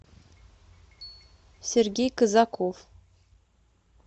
сергей казаков